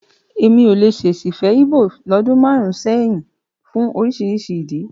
Èmi ò lè ṣèṣì fẹ́ Íbò lọ́dún márùn-ún sẹ́yìn fún oríṣi ìdí.